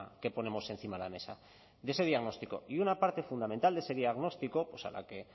que ponemos encima de la mesa de ese diagnóstico y una parte fundamental de ese diagnóstico pues a la que